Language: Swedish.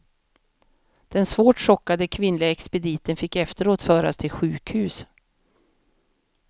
Den svårt chockade kvinnliga expediten fick efteråt föras till sjukhus.